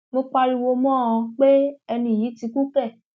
mo pariwo mọ ọn pé ẹni yìí ti kú kẹ